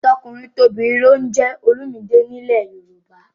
Tọkùnrintobìnrin ló ń jẹ́ Olumide nílẹ̀ Yorùbá